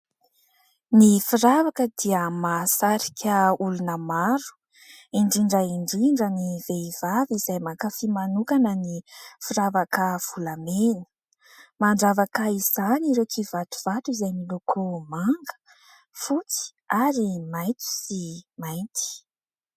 Ny firavaka dia mahasarika olona maro indrindra indrindra ny vehivavy izay mankafy manokana ny firavaka volamena. Mandravaka izany ireo kivatovato izay miloko manga, fotsy ary maintso sy mainty